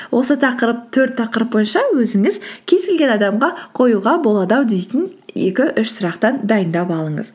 осы төрт тақырып бойынша өзіңіз кез келген адамға қоюға болады ау дейтін екі үш сұрақтан дайындап алыңыз